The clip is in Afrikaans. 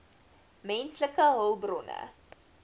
menslike hulpbronne